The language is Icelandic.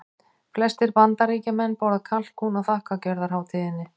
Flestir Bandaríkjamenn borða kalkún á þakkargjörðarhátíðinni.